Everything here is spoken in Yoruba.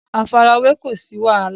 àfarawé kó o sí wàhálà